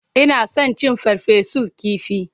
Ina son cin farfesun kifi.